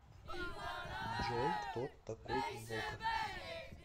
джой кто такой волков